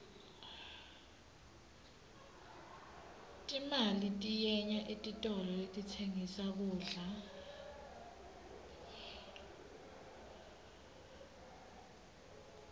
timali tiyenya etitolo letitsengissa kudla